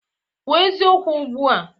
Kwuo eziokwu ugbu a!